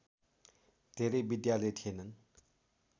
धेरै विद्यालय थिएनन्